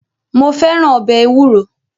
Mo fẹ́ràn ọbẹ̀ ewúro.